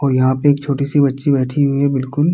और यहाँ पे छोटी सी बच्ची बैठी हुई है बिलकुल --